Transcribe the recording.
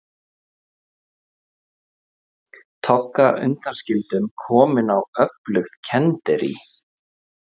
Togga undanskildum komin á öflugt kenderí.